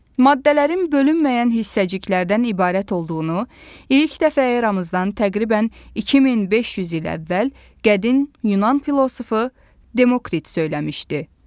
Maddələrin bölünməyən hissəciklərdən ibarət olduğunu ilk dəfə eramızdan təqribən 2500 il əvvəl qədim Yunan filosofu Demokrit söyləmişdi.